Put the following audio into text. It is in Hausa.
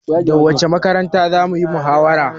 Da wacce makaranta zamuyi muhawara?